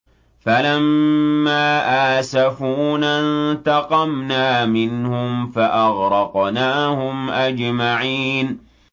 فَلَمَّا آسَفُونَا انتَقَمْنَا مِنْهُمْ فَأَغْرَقْنَاهُمْ أَجْمَعِينَ